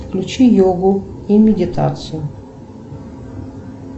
включи йогу и медитацию